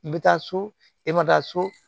I bɛ taa so e ma taa so